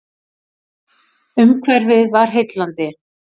Umhverfið var heillandi.